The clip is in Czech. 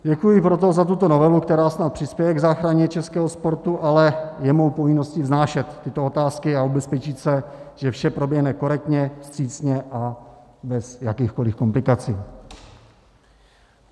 Děkuji proto za tuto novelu, která snad přispěje k záchraně českého sportu, ale je mou povinností vznášet tyto otázky a ubezpečit se, že vše proběhne korektně, vstřícně a bez jakýchkoliv komplikací.